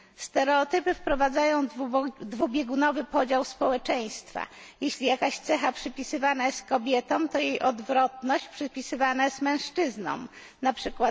Stereotypy wprowadzają dwubiegunowy podział społeczeństwa jeśli jakaś cecha przypisywana jest kobietom, to jej odwrotność przypisywana jest mężczyznom, np.